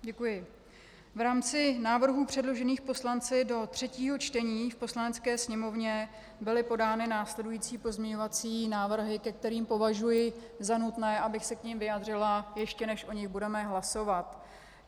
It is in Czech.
V rámci návrhů předložených poslanci do třetího čtení v Poslanecké sněmovně byly podány následující pozměňovací návrhy, ke kterým považuji za nutné, abych se k nim vyjádřila, ještě než o nich budeme hlasovat.